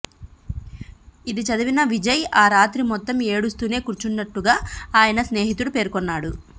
ఇది చదివిన విజయ్ ఆ రాత్రి మొత్తం ఏడుస్తూనే కూర్చున్నట్టుగా ఆయన స్నేహితుడు పేర్కొన్నాడు